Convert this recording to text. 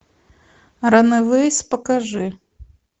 ранэвэйс покажи